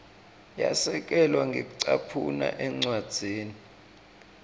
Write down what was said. yasekelwa ngekucaphuna encwadzini